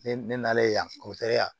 Ne ne nalen yan yan